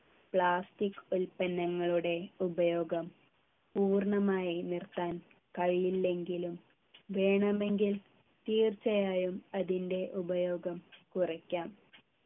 plastic ഉൽപ്പന്നങ്ങളുടെ ഉപയോഗം പൂർണ്ണമായി നിർത്താൻ കഴിയില്ലെങ്കിലും വേണമെങ്കിൽ തീർച്ചയായും അതിൻ്റെ ഉപയോഗം കുറയ്ക്കാം